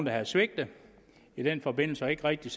havde svigtet i den forbindelse og ikke rigtig